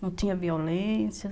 Não tinha violência.